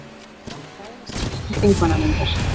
Ræða skýrslu þingmannanefndar